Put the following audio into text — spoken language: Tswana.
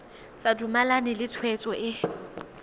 sa dumalane le tshwetso e